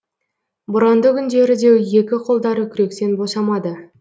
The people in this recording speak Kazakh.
боранды күндері де екі қолдары күректен босамады